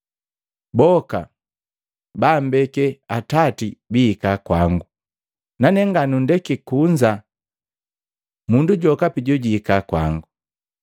Boka baambeke Atati biihika kwango, nane nganundeke kunza mundu jokapi jojuhika kwango.